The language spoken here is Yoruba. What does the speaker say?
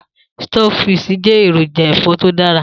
Stockfish jẹ́ èròjà ẹ̀fọ́ tó dára